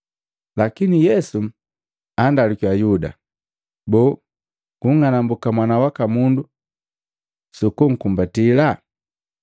Lakini Yesu andalukiya, “Yuda, boo, unng'anambuka Mwana waka Mundu suku kunkumbatila?”